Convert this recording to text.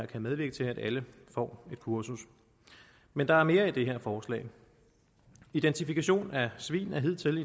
kan medvirke til at alle får et kursus men der er mere i det her forslag identifikation af svin er hidtil